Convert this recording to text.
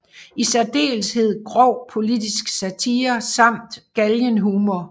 I særdeleshed grov politisk satire samt galgenhumor